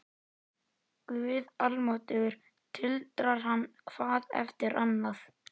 Guð almáttugur tuldrar hann hvað eftir annað.